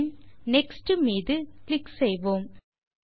பின் next மீது click செய்வோம்